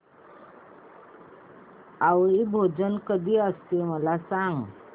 आवळी भोजन कधी असते मला सांग